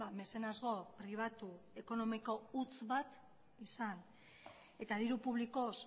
mezenasgo pribatu ekonomiko huts bat izan eta diru publikoz